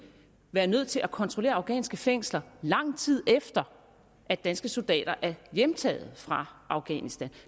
være nødt til at kontrollere afghanske fængsler lang tid efter at danske soldater er hjemtaget fra afghanistan